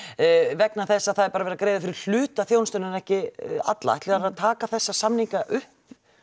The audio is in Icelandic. vegna þess að það er bara verið að greiða fyrir hluta þjónustunnar en ekki alla ætlið þið að taka þessa samninga upp